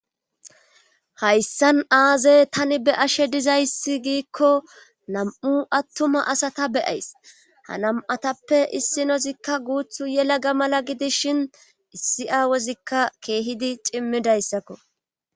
hayssan aaze tani be'ashe dizayssi giikko nam'u attuma asata beyays ha nam'atappe issinozikka guuthu yelaga mala gidis shin issi aawozikka keehidi cimmidayssakko